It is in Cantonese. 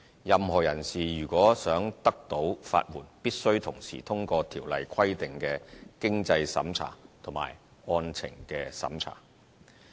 任何人士如想獲得法援，必須同時通過《條例》規定的經濟審查及案情審查。